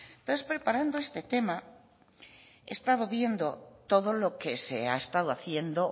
entonces preparando este tema he estado viendo todo lo que se ha estado haciendo